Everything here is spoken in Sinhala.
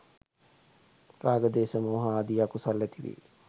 රාග ද්වේෂ මෝහ ආදී අකුසල් ඇති වේ